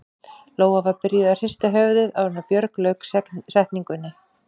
Lóa var byrjuð að hrista höfuðið áður en Björg lauk setningunni.